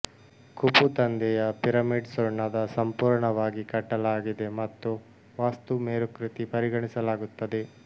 Khufu ತಂದೆಯ pyramid ಸುಣ್ಣದ ಸಂಪೂರ್ಣವಾಗಿ ಕಟ್ಟಲಾಗಿದೆ ಮತ್ತು ವಾಸ್ತು ಮೇರುಕೃತಿ ಪರಿಗಣಿಸಲಾಗುತ್ತದೆ